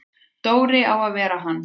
Dóri á að vera hann!